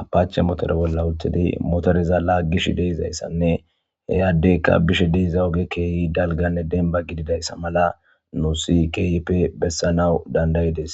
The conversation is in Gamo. apache motore bola utidi motoreza lagishshe dizayissanne he adeyikka bishshe de''iza ogey kehi dalganne demba gididayissa mala nusi kehippe besanaw danda'ides